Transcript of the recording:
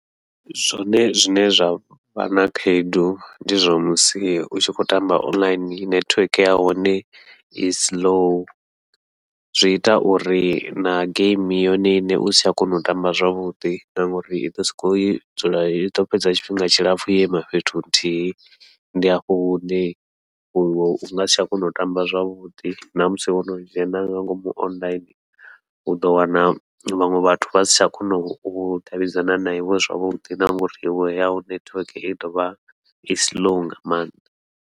Zwone zwine zwa vha na khaedu ndi zwa musi u tshi khou tamba online nethiweke ya hone i siḽou, zwi ita uri na geimi yone iṋe usi tsha kona u tamba zwavhuḓi ngauri iḓo sokou dzula iḓo fhedza tshifhinga tshilapfhu yo ima fhethu nthihi, ndi hafho hune u ngasi tsha kona u tamba zwavhuḓi namusi wono dzhena nga ngomu online uḓo wana vhaṅwe vhathu vha si tsha kona u davhidzana na iwe zwavhuḓi, na ngauri iwe yau nethiweke i ḓovha i siḽou nga maanḓa.